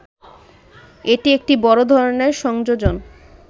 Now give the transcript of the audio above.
এটি একটি বড় ধরনের সংযোজন